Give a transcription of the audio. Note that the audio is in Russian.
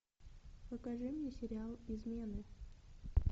покажи мне сериал измены